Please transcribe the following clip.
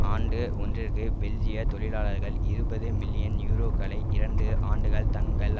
ஆண்டு ஒன்றிற்கு பெல்ஜியத் தொழிலாளர்கள் இருபது மில்லியன் யூரோக்களை இரண்டு ஆண்டுகள் தங்கள்